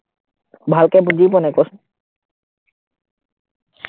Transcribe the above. ভালকে বুজি পোৱা নাই কচোন